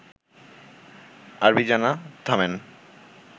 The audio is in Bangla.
আরবি জানা, থামেন